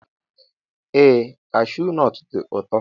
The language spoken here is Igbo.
Ee kashuu nọt dị ụtọ.